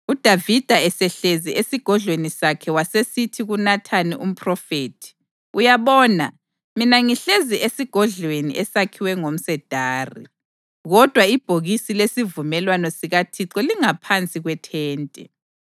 UDavida esehlezi esigodlweni sakhe wasesithi kuNathani umphrofethi, “Uyabona, mina ngihlezi esigodlweni esakhiwa ngomsedari, kodwa ibhokisi lesivumelwano sikaThixo lingaphansi kwethente.”